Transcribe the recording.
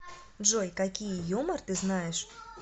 джой какие юмор ты знаешь